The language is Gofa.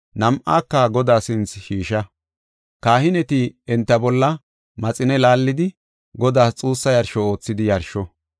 nam7aaka Godaa sinthe shiisha. Kahineti enta bolla maxine laallidi, Godaas xuussa yarsho oothidi yarsho.